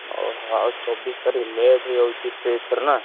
ଓହୋ ଆଉ ଚବିଶ ତାରିଖ late ହେଇଯାଉଛି ଏଥରକ ନା।